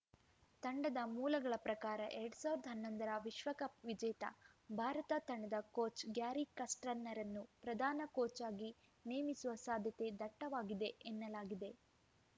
ತಂಡದ ಮೂಲಗಳ ಪ್ರಕಾರ ಎರಡ್ ಸಾವಿರದ ಹನ್ನೊಂದರ ವಿಶ್ವಕಪ್‌ ವಿಜೇತ ಭಾರತ ತಂಡದ ಕೋಚ್‌ ಗ್ಯಾರಿ ಕಸ್ರ್ಟನ್‌ರನ್ನು ಪ್ರಧಾನ ಕೋಚ್‌ ಆಗಿ ನೇಮಿಸುವ ಸಾಧ್ಯತೆ ದಟ್ಟವಾಗಿದೆ ಎನ್ನಲಾಗಿದೆ